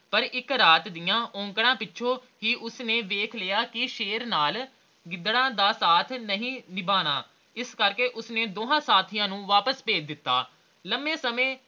ਪਰ ਇਕ ਰਾਤ ਦੀਆ ਔਕੜਾਂ ਪਿੱਛੋਂ ਹੀ ਉਸਨੇ ਵੇਖ ਲਿਆ ਕੇ ਸ਼ੇਰ ਨਾਲ ਗਿਦੜਾਂ ਦ ਸਾਥ ਨਹੀਂ ਨਿਭਣਾ ਇਸਲਈ ਉਸਨੇ ਦੋਵਾਂ ਸਾਥੀਆਂ ਨੂੰ ਵਾਪਿਸ ਭੇਜ ਦਿੱਤਾ ਲੰਮੇ ਸਮੇਂ